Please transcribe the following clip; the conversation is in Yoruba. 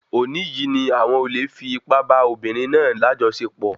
Òní yìí ni àwọn olè fi ipá bá obìnrin náà lajọsepọ